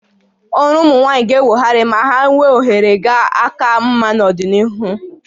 Ọrụ ụmụ nwaanyị ga-enwogharị ma ha ga-enwe ohere ga aka mma n'ọdịnihu